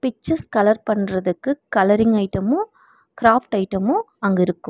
Pictures colour பண்றதுக்கு colouring item craft item அங்க இருக்கூ.